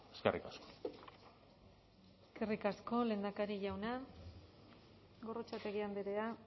eskerrik asko eskerrik asko lehendakari jauna gorrotxategi andrea